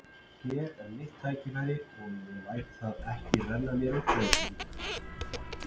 Hér er mitt tækifæri og ég læt það ekki renna mér úr greipum.